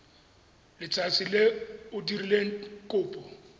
letsatsi le o dirileng kopo